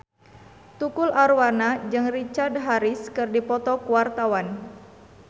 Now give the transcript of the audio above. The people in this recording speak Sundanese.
Tukul Arwana jeung Richard Harris keur dipoto ku wartawan